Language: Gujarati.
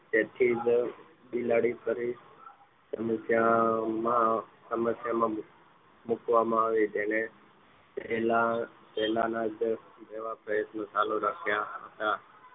તેથી જ બિલાડી ફરીથી મુક્યામાં સમસ્યા માં મૂકવામાં આવી તેને તેની પહેલા જ જેવો જ પ્રયત્ન ચાલુ રાખ્યા હતા